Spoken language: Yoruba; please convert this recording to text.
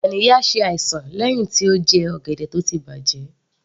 Ganiya ṣe àìsàn lẹ́hìn tí ó jẹ ọ̀gẹ̀dẹ̀ tó ti bàjẹ́